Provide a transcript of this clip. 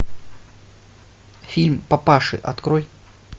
фильм папаши открой